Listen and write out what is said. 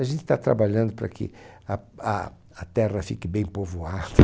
A gente está trabalhando para que a a a terra fique bem povoada.